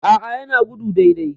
A'a yana gudu dai dai